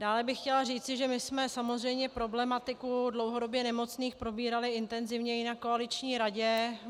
Dále bych chtěla říci, že my jsme samozřejmě problematiku dlouhodobě nemocných probírali intenzivně i na koaliční radě.